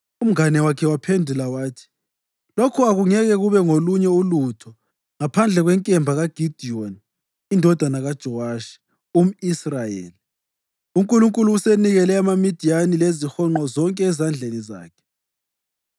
Umngane wakhe waphendula wathi, “Lokhu akungeke kube ngolunye ulutho ngaphandle kwenkemba kaGidiyoni indodana kaJowashi, umʼIsrayeli. UNkulunkulu usenikele amaMidiyani lezihonqo zonke ezandleni zakhe.”